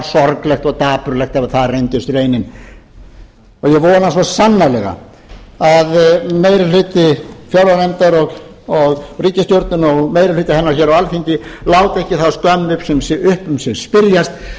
sorglegt og dapurlegt ef það reyndist raunin og ég vona svo sannarlega að meiri hluti fjárlaganefndar og ríkisstjórnarinnar og meiri hluti hennar á alþingi láti ekki þá skömm um sig spyrjast